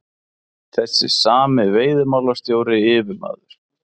Þessi sami veiðimálastjóri, yfirmaður